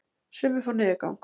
Sumir fá niðurgang.